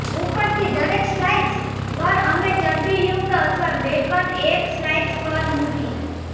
ઉપરથી દરેક સ્લાઇસ પર અમે ચરબીયુક્ત અથવા બેકન એક સ્લાઇસ પર મૂકી